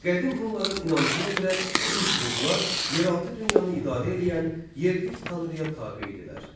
Qədim Hunların inancına görə pis ruhlar yeraltı dünyanı idarə eləyən yerlik tanrıya tabe idilər.